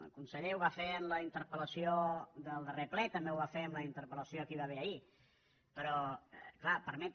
el conseller ho va fer en la interpel·lació del darrer ple també ho va fer en la interpel·va haver ahir però clar permetre